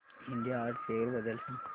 India art fair बद्दल सांग